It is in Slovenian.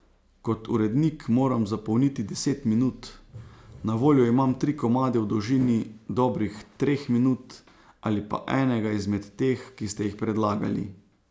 Kot urednik moram zapolniti deset minut, na voljo imam tri komade v dolžini dobrih treh minut ali pa enega izmed teh, ki ste jih predlagali.